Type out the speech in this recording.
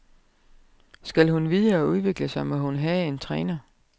Skal hun videre og udvikle sig, må hun have en træner.